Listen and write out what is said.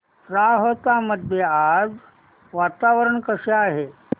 राहता मध्ये आज वातावरण कसे आहे